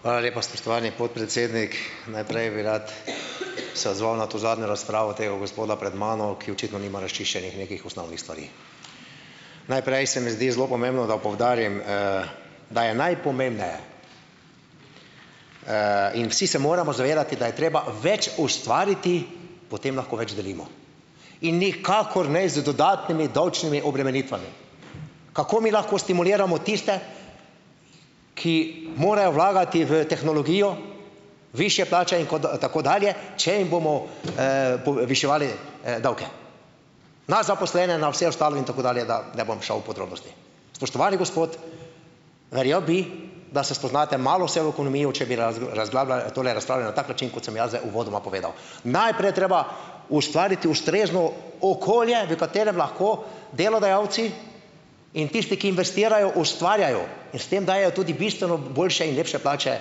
Hvala lepa, spoštovani podpredsednik! Najprej bi rad se odzval na to zadnjo razpravo tega gospoda pred mano, ki očitno nima razčiščenih nekih osnovnih stvari. Najprej se mi zdi zelo pomembno, da poudarim, da je najpomembneje, in vsi se moramo zavedati, da je treba več ustvariti, potem lahko več delimo in nikakor ne z dodatnimi davčnimi obremenitvami. Kako mi lahko stimuliramo tiste, ki morajo vlagati v tehnologijo, višje plače in kot, tako dalje, če jim bomo, poviševali, davke na zaposlene, na vse ostalo in tako dalje, da ne bom šel v podrobnosti? Spoštovani gospod, verjel bi, da se spoznate malo se v ekonomijo, na tak način, kot sem jaz zdaj uvodoma povedal. Najprej je treba ustvariti ustrezno okolje, v katerem lahko delodajalci in tisti, ki investirajo, ustvarjajo in s tem dajejo tudi bistveno boljše in lepše plače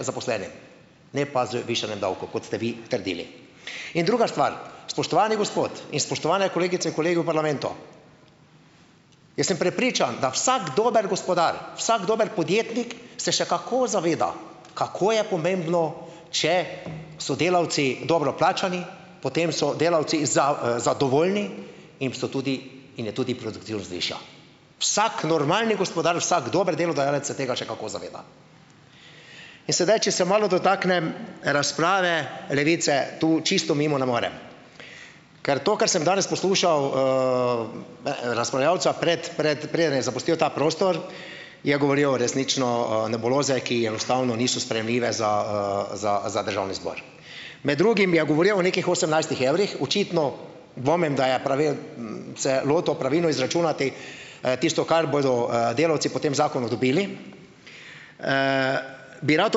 zaposlenim, ne pa z višanjem davkov, kot ste vi trdili. In druga stvar, spoštovani gospod in spoštovane kolegice in kolegi v parlamentu, jaz sem prepričan, da vsak dober gospodar, vsak dober podjetnik se še kako zaveda kako je pomembno, če so delavci dobro plačani, potem so delavci zadovoljni in so tudi, in je tudi produktivnost višja. Vsak normalni gospodar, vsak dober delodajalec se tega še kako zaveda. In sedaj, če se malo dotaknem razprave Levice, to čisto mimo ne morem, ker to, kar sem danes poslušal, razpravljavca prej, prej, preden je zapustil ta prostor, je govoril resnično, nebuloze, ki enostavno niso sprejemljive za, za za državni zbor. Med drugim je govoril o nekih osemnajstih evrih, očitno dvomim, da ja se je lotil pravilno izračunati, tisto, kar bodo, delavci po tem zakonu dobili, bi rad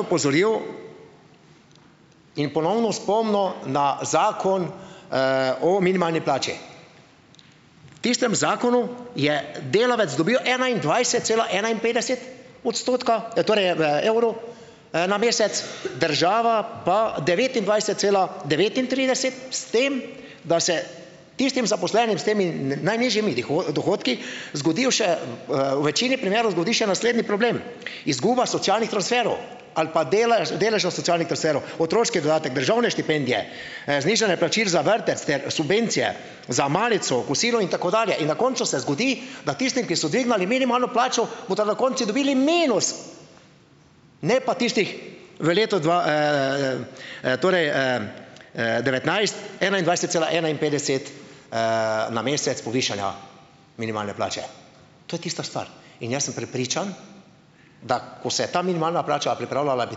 opozoril in ponovno spomnil na zakon, o minimalni plači, tistem zakonu je delavec dobil enaindvajset cela enainpetdeset odstotka, torej, evrov, na mesec, država pa devetindvajset cela devetintrideset, s tem, da se tistim zaposlenim s temi, najnižjimi dohodki zgodijo še, v večini primerov zgodi še naslednji problem, izguba socialnih transferov ali pa delež deležev socialnih transferov, otroški dodatek, državne štipendije, znižanje plačil za vrtec ter subvencije za malico, kosilo in tako dalje, in na koncu se zgodi, da tistim, ki so dvignili minimalno plačo, bodo na koncu dobili minus, ne pa tistih v letu dva, torej, devetnajst enaindvajset cela enainpetdeset, na mesec povišanja minimalne plače. To je tista stvar. In jaz sem prepričan, da ko se je ta minimalna plača pripravljala, bi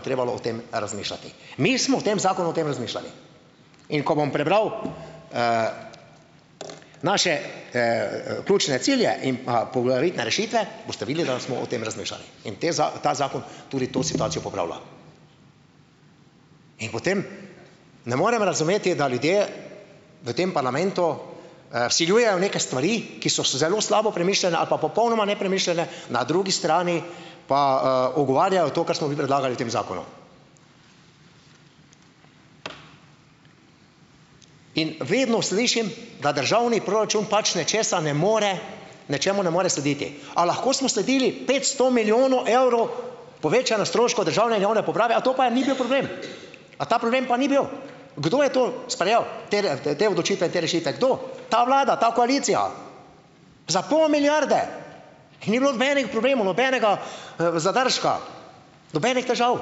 trebalo o tem razmišljati, mi smo v tem zakonu o tem razmišljali. In ko bom prebral, naše, ključne cilje in pa poglavitne rešitve, boste videli, da smo o tem razmišljali, in te ta zakon tudi to situacijo popravlja. In potem ne morem razumeti, da ljudje v tem parlamentu, vsiljujejo neke stvari, ki so se zelo slabo premišljene ali pa popolnoma nepremišljene, na drugi strani pa, ugovarjajo. In vedno slišim, da državni proračun pač nečesa ne more, nečemu ne more slediti, a lahko smo sledili petsto milijonov evrov povečanju stroškov državne in javne uprave. A to pa je ni bil problem? A ta problem pa ni bil? Kdo je to sprejel tele, te odločitve in te rešitve, kdo? Ta vlada, ta koalicija. Za pol milijarde in ni bilo nobenih problemov, nobenega, zadržka, nobenih težav.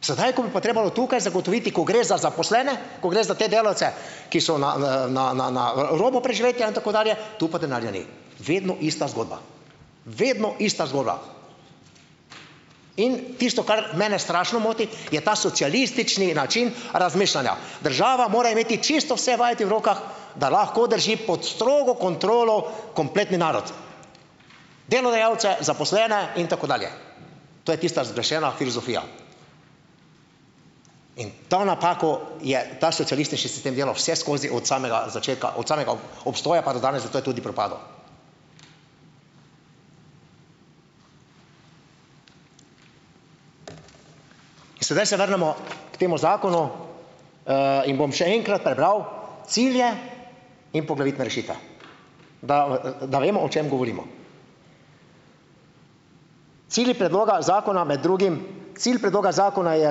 Sedaj, ko bi pa trebalo tukaj zagotoviti, ko gre za zaposlene, ko gre za te delavce, ki so na, na, na, na, na robu preživetja in tako dalje, tu pa denarja ni. Vedno ista zgodba. Vedno ista zgodba. In tisto, kar mene strašno moti, je ta socialistični način razmišljanja - država mora imeti čisto vse vajeti v rokah, da lahko drži pod strogo kontrolo kompletni narod, delodajalce, zaposlene in tako dalje. To je tista zgrešena filozofija. In to napako je ta socialistični sistem delal vseskozi od samega začetka, od samega obstoja pa do danes, zato je tudi propadel. In sedaj se vrnemo k temu zakonu. In bom še enkrat prebral cilje in poglavitne rešitve, da, da vemo, o čem govorimo. Cilj predloga zakona med drugim, cilj predloga zakona je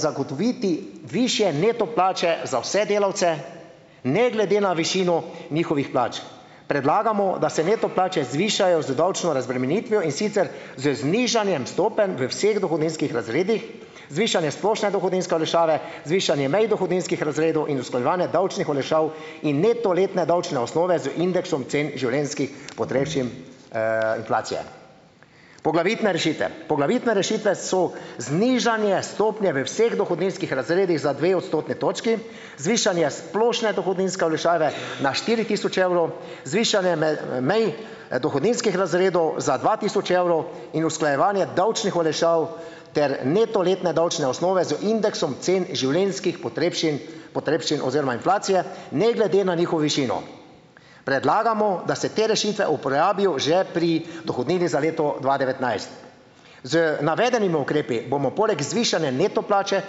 zagotoviti višje neto plače za vse delavce, ne glede na višino njihovih plač. Predlagamo, da se neto plače zvišajo z davčno razbremenitvijo, in sicer z znižanjem stopenj v vseh dohodninskih razredih, zvišanjem splošne dohodninske olajšave, zvišanjem mej dohodninskih razredov in usklajevanje davčnih olajšav in neto letne davčne osnove z indeksom cen življenjskih potrebščin, inflacije. Poglavitne rešitve poglavitne rešitve so: znižanje stopnje v vseh dohodninskih razredih za dve odstotni točki, zvišanje splošne dohodninske olajšave na štiri tisoč evrov, zvišanje mej, dohodninskih razredov za dva tisoč evrov in usklajevanje davčnih olajšav ter neto letne davčne osnove z indeksom cen življenjskih potrebšin potrebščin oziroma inflacije, ne glede na njihovo višino. Predlagamo, da se te rešitve uporabijo že pri dohodnini za leto dva devetnajst. Z navedenimi ukrepi bomo poleg zvišanja neto plače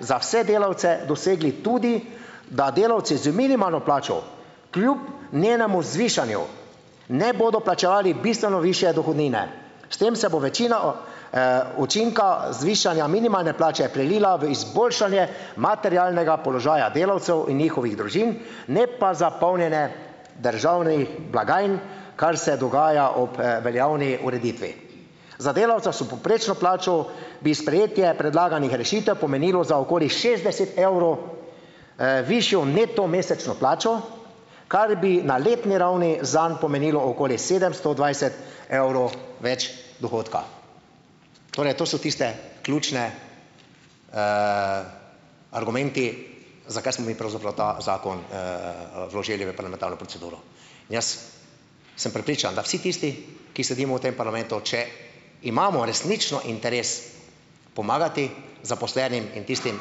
za vse delavce dosegli tudi, da delavci z minimalno plačo kljub njenemu zvišanju ne bodo plačevali bistveno višje dohodnine, s tem se bo večina učinka zvišanja minimalne plače prelila v izboljšanje materialnega položaja delavcev in njihovih družin, ne pa za polnjenje državnih blagajn, kar se dogaja ob, veljavni ureditvi. Za delavca s povprečno plačo bi sprejetje predlaganih rešitev pomenilo za okoli šestdeset evrov, višjo neto mesečno plačo, kar bi na letni ravni zanj pomenilo okoli sedemsto dvajset evrov več dohodka. Torej, to so tisti ključni, argumenti, zakaj smo mi pravzaprav ta zakon, vložili v parlamentarno proceduro. In jaz sem prepričan, da vsi tisti, ki sedimo v tem parlamentu, če imamo resnično interes pomagati zaposlenim, in tistim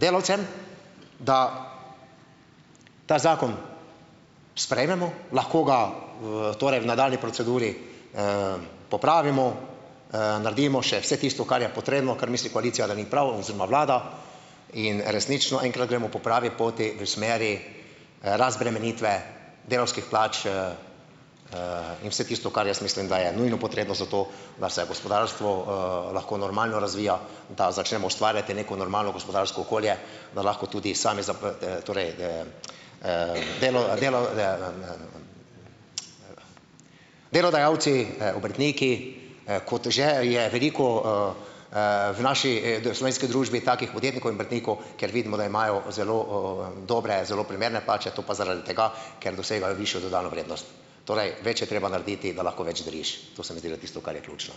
delavcem, da ta zakon sprejmemo; lahko ga v torej v nadaljnji proceduri, popravimo, naredimo še vse tisto, kar je potrebno, kar misli koalicija, da ni prav, oziroma vlada, in resnično enkrat gremo po pravi poti, v smeri razbremenitve delavskih plač, in vse tisto, kar jaz mislim, da je nujno potrebno za to, da se gospodarstvo, lahko normalno razvija, da začnemo ustvarjati neko normalno gospodarsko okolje. Da lahko tudi delodajalci, obrtniki, kot že je veliko, v naši, slovenski družbi takih podjetnikov in obrtnikov, kjer vidimo, da imajo zelo, dobre, zelo primerne plače, to pa zaradi tega, ker dosegajo višjo dodano vrednost. Torej, več je treba narediti, da lahko več deliš; to se mi zdi da tisto, kar je ključno.